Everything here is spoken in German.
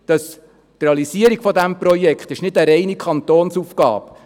Die Realisierung dieses Projekts ist nicht eine reine Kantonsaufgabe.